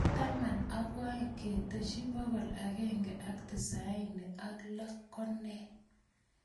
Taman ak oeing ketesyi bokol agenge ak tisaini ak lo ko nee